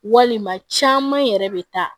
Walima caman yɛrɛ bɛ taa